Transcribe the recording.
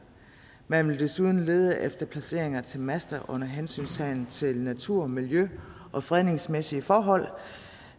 man vil desuden lede efter placeringer til master under hensyntagen til natur miljø og fredningsmæssige forhold